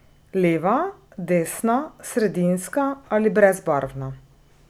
Leva, desna, sredinska ali brezbarvna.